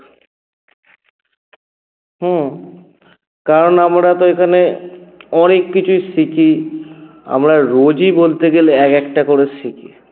হম কারণ আমরা তো এখানে অনেককিছুই শিখি আমরা রোজই বলতে গেলে এক একটা করে শিখি